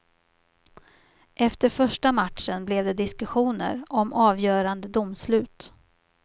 Efter första matchen blev det diskussioner om avgörande domslut.